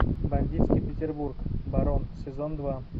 бандитский петербург барон сезон два